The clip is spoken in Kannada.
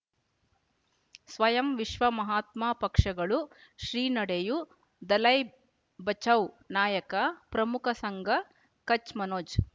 ಸ್ವಯಂ ವಿಶ್ವ ಮಹಾತ್ಮ ಪಕ್ಷಗಳು ಶ್ರೀ ನಡೆಯೂ ದಲೈ ಬಚೌ ನಾಯಕ ಪ್ರಮುಖ ಸಂಘ ಕಚ್ ಮನೋಜ್